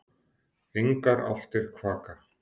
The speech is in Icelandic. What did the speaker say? Engar álftir kvaka.